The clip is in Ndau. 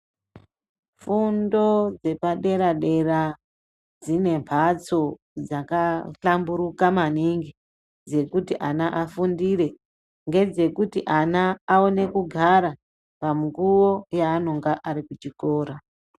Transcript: Fundo dzepadera dera dzine mbatso dzakahlamburuka maningi dzekuti ana afundire ngedzekuti ana aone kugara pamukuwo yaanonga arikuchikora.